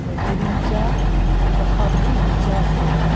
ema kuring cha gahah gang phai cha cheraiga.